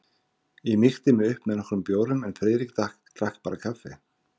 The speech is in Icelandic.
Ég mýkti mig upp með nokkrum bjórum en Friðrik drakk bara kaffi.